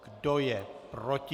Kdo je proti?